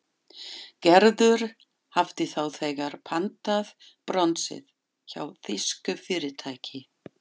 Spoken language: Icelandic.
Gerður hafði þá þegar pantað bronsið hjá þýsku fyrirtæki.